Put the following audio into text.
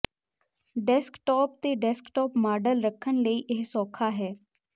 desktop ਤੇ desktop model ਰੱਖਣ ਲਈ ਇਹ ਸੌਖਾ ਹੈ